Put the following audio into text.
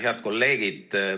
Head kolleegid!